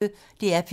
DR P1